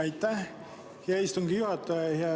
Aitäh, hea istungi juhataja!